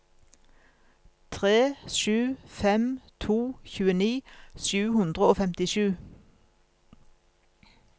tre sju fem to tjueni sju hundre og femtisju